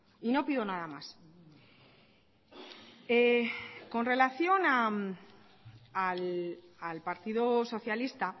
y no pido nada más con relación al partido socialista